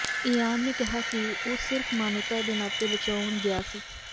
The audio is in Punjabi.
ਇਆਨ ਨੇ ਕਿਹਾ ਕਿ ਉਹ ਸਿਰਫ਼ ਮਾਨਵਤਾ ਦੇ ਨਾਤੇ ਬਚਾਉਣ ਗਿਆ ਸੀ